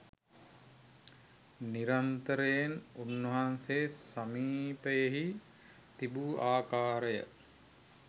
නිරන්තරයෙන් උන්වහන්සේ සමීපයෙහි තිබූ ආකාරය